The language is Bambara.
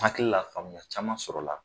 Hakili la faamuya caman sɔrɔla .